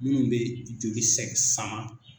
Minnu bɛ joli sɛ sama